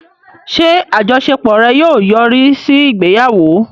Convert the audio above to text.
Ṣé àjọṣepọ̀ rẹ̀ yóò yọrí sí ìgbéyàwó?